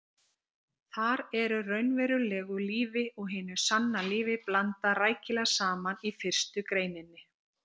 Þar er raunverulegu lífi og hinu sanna lífi blandað rækilega saman í fyrstu greininni.